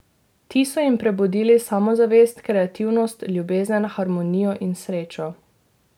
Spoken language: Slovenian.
Ti so jim prebudili samozavest, kreativnost, ljubezen, harmonijo in srečo.